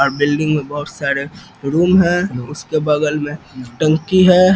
अ building में बहुत सारे रूम है उसके बगल में टंकी है।